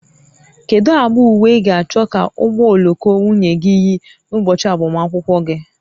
Kedu agba uwe ị ga-achọ ka ụgbọ oloko nwunye gị yi n'ụbọchị agbamakwụkwọ gị?